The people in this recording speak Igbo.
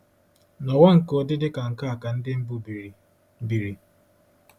N’ụwa nke ụdị dị ka nke a ka Ndị mbụ biri? biri?